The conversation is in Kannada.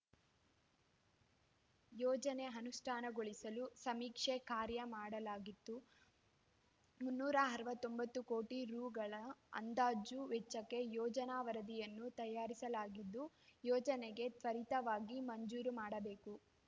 ಯೋಜನೆ ಅನುಷ್ಠಾನಗೊಳಿಸಲು ಸಮೀಕ್ಷೆ ಕಾರ್ಯ ಮಾಡಲಾಗಿದ್ದು ಮುನ್ನೂರ ಅರವತ್ತೊಂಬತ್ತು ಕೋಟಿ ರುಗಳ ಅಂದಾಜು ವೆಚ್ಚಕ್ಕೆ ಯೋಜನಾ ವರದಿಯನ್ನು ತಯಾರಿಸಲಾಗಿದ್ದು ಯೋಜನೆಗೆ ತ್ವರಿತವಾಗಿ ಮಂಜೂರು ಮಾಡಬೇಕು